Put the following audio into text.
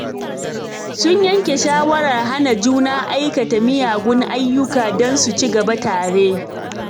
Sun yanke shawarar hana juna aikata miyagun ayyuka don su ci gaba tare.